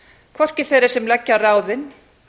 hvorki þeirra sem leggja á ráðin